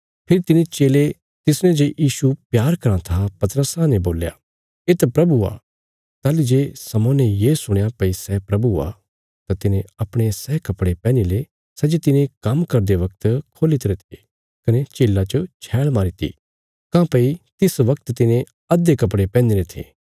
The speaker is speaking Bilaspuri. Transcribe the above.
फेरी तिने चेले तिसने जे यीशु प्यार करां था पतरसा ने बोल्या येत प्रभु आ ताहली जे शमौन्ने ये सुणया भई सै प्रभु आ तां तिने अपणे सै कपड़े पैहनी ले सै जे तिने काम्म करदे वगत खोल्ही तरे थे कने झीला च छैल़ मारीती काँह्भई तिस वगत तिने अधे कपड़े पैहनीरे थे